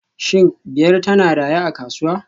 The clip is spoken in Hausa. Shin Biyar tana raye a kasuwa